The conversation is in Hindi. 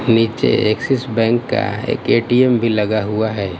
नीचे एक्सिस बैंक का एक ए_टी_एम भी लगा हुआ है।